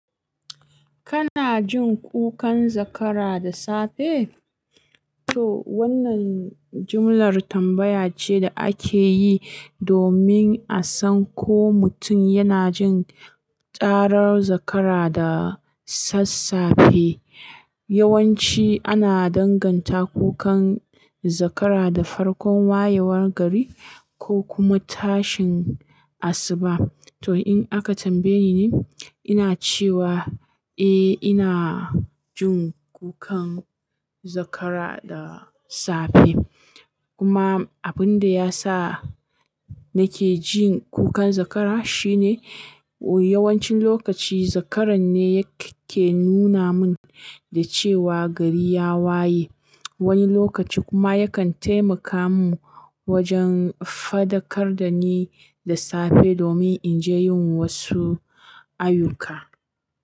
Kana jin kukan zakara da safe? To wannan jumlar tambaya ce da ake yi domin a san ko mutum yana jin karar zakara da sassafe. Yawanci ana danganta kukan zakara da farkon wayewar gari ko kuma tashin asuba. To in aka tambaye ni, ina cewa eh ina jin kukan zakara da safe. Kuma abin da ya sa nake jin kukan zakara shine yawancin lokaci zakaran ne yake nuna mun da cewa gari ya waye. Wani lokaci kuma yakan taimaka mun wajen faɗakar da ni da safe domin in je yin wasu ayyuka.